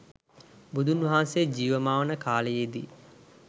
බුදුන් වහන්සේ ජීවමාන කාලයේදී